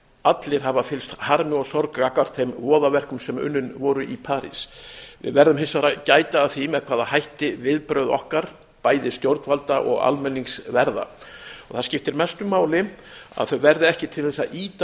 allir hafa fylgst hafa fyllst harmi og sorg gagnvart þeim voðaverkum sem unnin voru í parís við verðum hins vegar að gæta að því með hvaða hætti viðbrögð okkar bæði stjórnvalda og almennings verða það skiptir mestu máli að þau verði ekki til þess að ýta